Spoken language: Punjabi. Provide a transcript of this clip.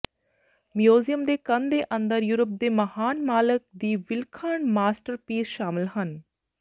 ਮਿਊਜ਼ੀਅਮ ਦੇ ਕੰਧ ਦੇ ਅੰਦਰ ਯੂਰਪ ਦੇ ਮਹਾਨ ਮਾਲਕ ਦੀ ਵਿਲੱਖਣ ਮਾਸਟਰਪੀਸ ਸ਼ਾਮਿਲ ਹਨ